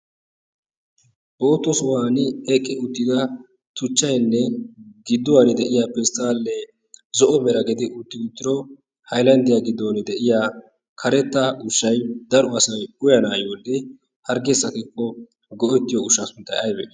bootta sohuwani eqqi utida tuchchaynne giduwani de'iya pestaale zo"o mera gidi uttido haylanddiya giddon de'iya kareta ushshay daro asay uyanaayoonne hargee sakikko go'ettiyo ushshaa sunttay aybee?